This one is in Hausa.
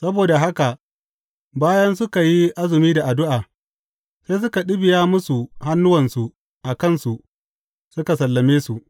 Saboda haka bayan suka yi azumi da addu’a, sai suka ɗibiya musu hannuwansu a kansu suka sallame su.